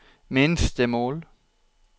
minstemål